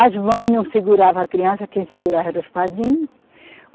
As mães não seguravam a criança, quem segurava eram os padrinhos.